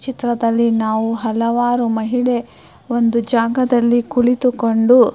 ಚಿತ್ರದಲ್ಲಿ ನಾವು ಹಲವಾರು ಮಹಿಳೆ ಒಂದು ಜಾಗದಲ್ಲಿ ಕುಳಿತುಕೊಂಡು --